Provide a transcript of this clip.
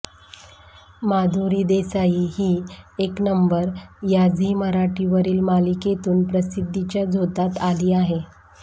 माधुरी देसाई ही येक नंबर या झी मराठीवरील मालिकेतून प्रसिद्धीच्या झोतात आली आहे